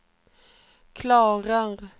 klarar